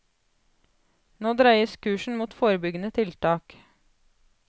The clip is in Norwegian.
Nå dreies kursen mot forebyggende tiltak.